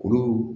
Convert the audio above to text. Kuru